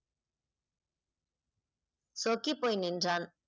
சொக்கி போய் நின்றான்